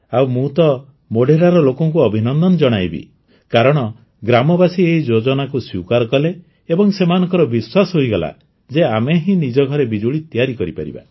ଆଉ ମୁଁ ତ ମୋଢେରାର ଲୋକଙ୍କୁ ଅଭିନନ୍ଦନ ଜଣାଇବି କାରଣ ଗ୍ରାମବାସୀ ଏହି ଯୋଜନାକୁ ସ୍ୱୀକାର କଲେ ଏବଂ ସେମାନଙ୍କର ବିଶ୍ୱାସ ହୋଇଗଲା ଯେ ଆମେ ହିଁ ନିଜ ଘରେ ବିଜୁଳି ତିଆରି କରିପାରିବା